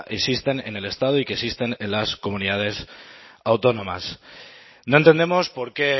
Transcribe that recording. existen en el estado y que existen en las comunidades autónomas no entendemos por qué